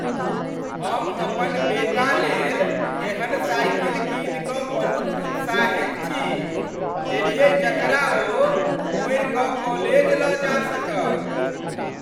हम अपन बेटालेल एहेन साइकिल कीनि क बहुत उत्साहित छी देलियै जकरा ओ मोड़ि कऽ कॉलेज लऽ जा सकत।